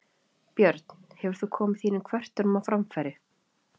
Björn: Hefur þú komið þínum kvörtunum á framfæri?